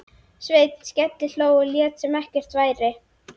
Sveinn skellihló og lét sem ekkert væri.